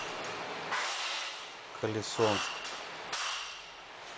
колесонск